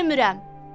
Yemirəm.